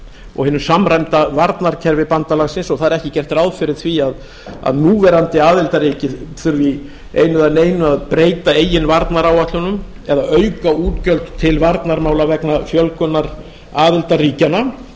og hinu samræmda varnarkerfi bandalagsins og það er ekki gert ráð fyrir því að núverandi aðildarríki þurfi í einu eða neinu að breyta eigin varnaráætlunum eða auka útgjöld til varnarmála vegna fjölgunar aðildarríkjanna